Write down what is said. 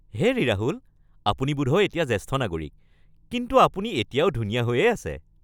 হেৰি ৰাহুল, আপুনি বোধহয় এতিয়া জ্যেষ্ঠ নাগৰিক, কিন্তু আপুনি এতিয়াও ধুনীয়া হৈয়েই আছে।